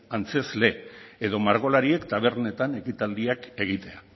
antzezle edo margolariek tabernetan ekitaldiak egitea